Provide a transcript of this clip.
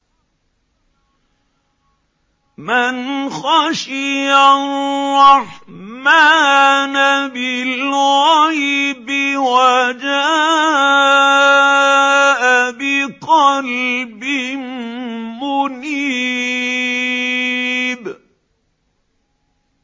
مَّنْ خَشِيَ الرَّحْمَٰنَ بِالْغَيْبِ وَجَاءَ بِقَلْبٍ مُّنِيبٍ